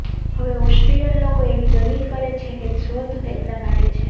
હવે ઑસ્ટ્રિયન લોકો એવી દલીલ કરે છે કે શોધ તેમના માટે છે